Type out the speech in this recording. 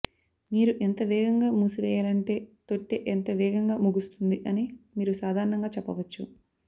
మీరు ఎంత వేగంగా మూసివేయాలంటే తొట్టె ఎంత వేగంగా ముగుస్తుంది అని మీరు సాధారణంగా చెప్పవచ్చు